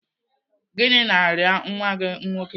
Gịnị na-arịa nwa gị nwoke?